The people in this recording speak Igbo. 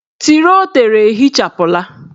Tiro o tere ehichapụla.